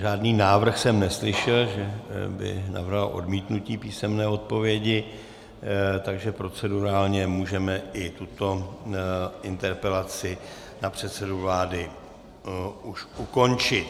Žádný návrh jsem neslyšel, že by navrhoval odmítnutí písemné odpovědi, takže procedurálně můžeme i tuto interpelaci na předsedu vlády už ukončit.